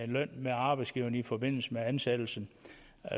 løn med arbejdsgiveren i forbindelse med ansættelsen